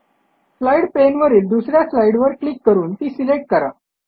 slide पाने वरील दुस या स्लाईडवर क्लिक करून ती सिलेक्ट करा